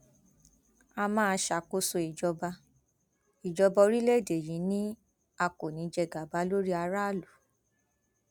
a máa ṣàkóso ìjọba ìjọba orílẹèdè yìí ni a kò ní í jẹ gàba lórí aráàlú